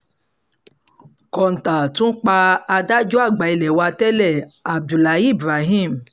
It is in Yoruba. kọ́ńtà tún pa adájọ́ àgbà ilé wa tẹ́lẹ̀ abdullahi ibrahim